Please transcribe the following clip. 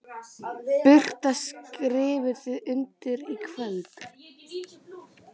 Birta: Skrifið þið undir í kvöld?